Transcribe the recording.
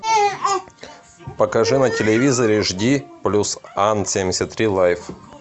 покажи на телевизоре жди плюс ан семьдесят три лайф